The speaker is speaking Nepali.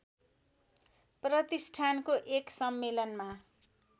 प्रतिष्ठानको एक सम्मेलनमा